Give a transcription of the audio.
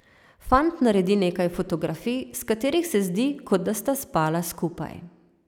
Fant naredi nekaj fotografij, s katerih se zdi, kot da sta spala skupaj.